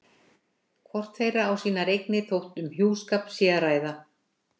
Hvort þeirra á sínar eignir þótt um hjúskap sé að ræða.